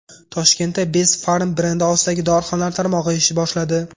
Toshkentda Best Pharm brendi ostidagi dorixonalar tarmog‘i ish boshladi.